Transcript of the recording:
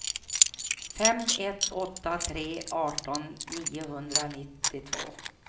fem ett åtta tre arton niohundranittiotvå